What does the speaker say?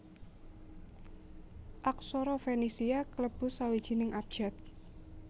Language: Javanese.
Aksara Fenisia klebu sawijining abjad